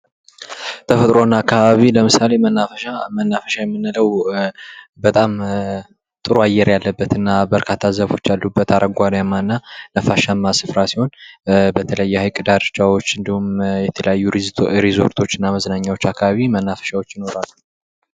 ተፈጥሮ እና አካባቢ ለምሳሌ መናፈሻ መናፈሻ የምንለው በጣም ጥሩ አየር ያለበት እና በርካታ ዛፎች ያሉበት አረጓዴማ እና ነፋሻማ ስፍራ ሲሆን በተለይ የሐይቅ ዳርቻዎች እንዲሁም የተለያዩ ሪዞርቶች እና መዝናኛዎች አካባቢ መናፈሻዎች ይኖራሉ።